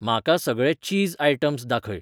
म्हाका सगळे चीज आयटम्स दाखय